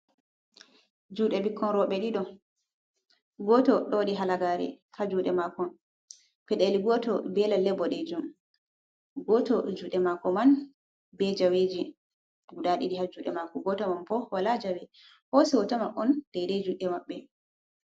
Jude bikkon robe dido, goto do wadi halagari ha jude mako, fideli goto be lalle bodejon, goto jude mako man be jaweji guda didi ha jude mako, goto man bo wala jawe hosi hoto man on daide jude mabbe.